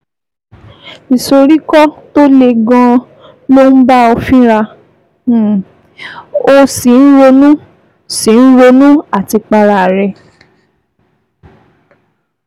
Ìsoríkọ́ tó le gan-an ló ń bá ọ fínra, um o sì ń ronú sì ń ronú àtipa ara rẹ